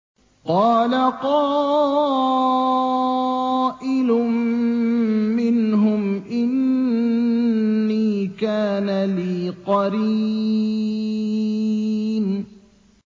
قَالَ قَائِلٌ مِّنْهُمْ إِنِّي كَانَ لِي قَرِينٌ